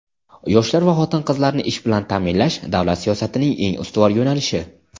Yoshlar va xotin-qizlarni ish bilan ta’minlash - davlat siyosatining eng ustuvor yo‘nalishi.